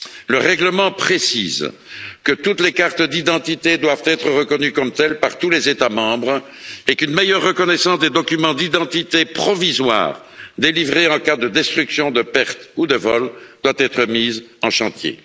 Le règlement précise que toutes les cartes d'identité doivent être reconnues comme telles par tous les États membres et qu'une meilleure reconnaissance des documents d'identité provisoires délivrés en cas de destruction, de perte ou de vol doit être mise en chantier.